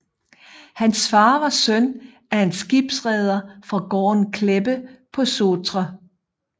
Hans far var søn af en skibsreder fra gården Kleppe på Sotra